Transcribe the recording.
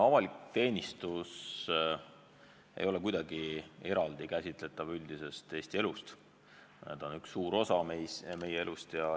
Avalik teenistus ei ole kuidagi eraldi käsitletav üldisest Eesti elust – see on üks suur osa meie elust.